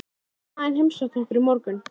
Mamma þín heimsótti okkur í morgun.